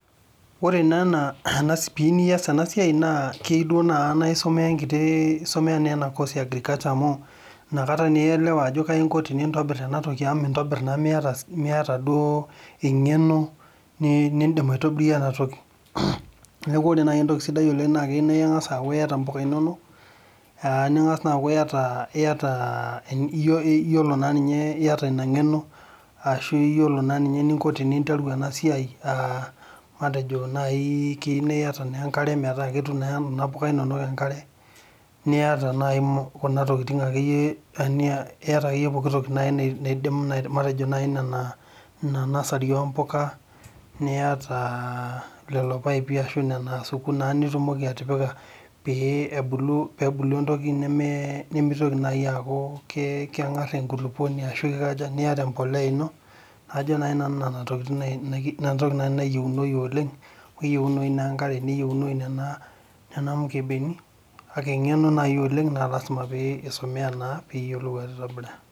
Ore naa ena , piyieu nias ena siai naa keyieu duo nai naa isomea enkiti, isomea naa ena course eagriculture amu inakata naa ielewa ajo kaji inko pintobir ena toki amu mintobir naa miata, miata duoo engeno nindim aitobirie ena toki. Niaku ore nai entoki sidai naa keyieu naa ingas aaku iyata impuka inonok ningas naa aaku iyata, iyata, iyiolo, iyata naa nninye , iyata ina ngeno ashu iyiolo naa ninye eninko pinteru ena siai, matejo naa nai keiu naa iyata naa enkare metaa ketum naa kuna puka inonok enkare